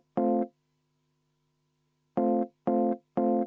Härra Põlluaas.